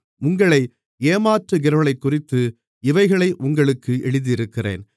உங்களை ஏமாற்றுகிறவர்களைக்குறித்து இவைகளை உங்களுக்கு எழுதியிருக்கிறேன்